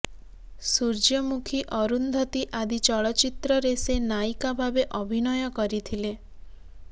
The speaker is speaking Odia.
ସୂର୍ଯ୍ୟମୁଖୀ ଅରୁନ୍ଧତୀ ଆଦି ଚଳଚ୍ଚିତ୍ରରେ ସେ ନାୟିକା ଭାବେ ଅଭିନୟ କରିଥିଲେ